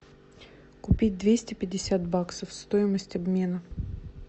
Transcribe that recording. купить двести пятьдесят баксов стоимость обмена